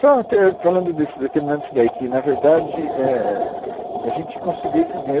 Só ter, falando desse, terminando isso daí que, na verdade, é, é, a gente conseguiu esses ganhos.